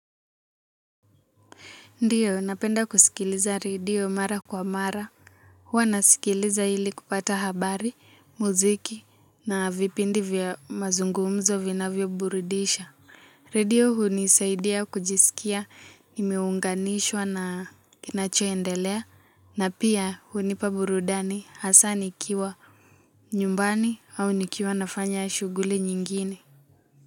Ndio napenda kusikiliza redio mara kwa mara huwa nasikiliza ili kupata habari mziki na vipindi vya mazungumzo vinavyoburudisha redio hunisaidia kujisikia nimeunganishwa na kinachoendelea na pia hunipa burudani hasa nikiwa nyumbani au nikiwa nafanya shughuli nyingine.